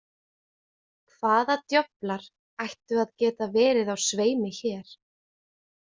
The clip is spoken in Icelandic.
Hvaða djöflar ættu að geta verið á sveimi hér?